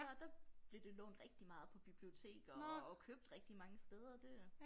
Der der blev det lånt rigtig meget på biblioteker og købt rigtig mange steder det øh